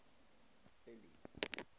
billy